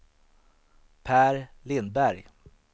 Pär Lindberg